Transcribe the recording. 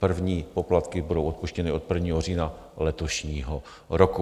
První poplatky budou odpuštěny od 1. října letošního roku.